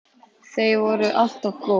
Þau voru alltaf góð.